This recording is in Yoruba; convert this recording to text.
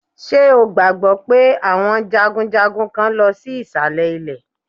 Ṣé o gbàgbọ́ pé àwọn jagunjagun kán lọ sí ìsàlẹ̀ ilẹ̀?